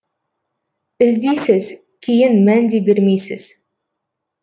іздейсіз кейін мән де бермейсіз